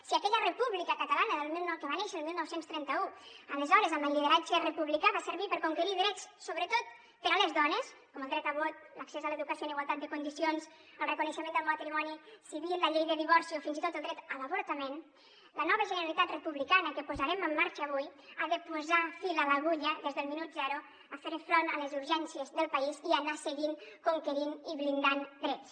si aquella república catalana que va néixer el dinou trenta u aleshores amb el lideratge republicà va servir per conquerir drets sobretot per a les dones com el dret a vot l’accés a l’educació en igualtat de condicions el reconeixement del matrimoni civil la llei de divorci o fins i tot el dret a l’avortament la nova generalitat republicana que posarem en marxa avui ha de posar fil a l’agulla des del minut zero a fer front a les urgències del país i anar seguint conquerint i blindant drets